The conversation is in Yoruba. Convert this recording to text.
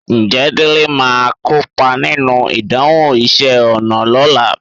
Ǹjẹ́ Délé máa kópa nínú ìdánwò iṣẹ́ ọnà lọ́la?